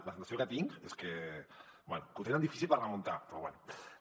la sensació que tinc és que bé que ho tenen difícil per remuntar però bé